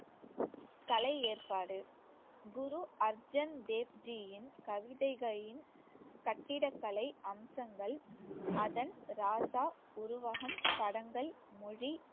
கலை ஏற்பாடு குரு அர்ஜன் தேவ்ஜியின் கவிதைகளின் கட்டிடக்கலை அம்சங்கள் அதன் ராசா உருவகம் படங்கள் மொழி